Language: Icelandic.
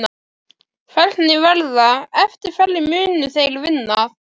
Hvernig verða, eftir hverju munu þeir vinna?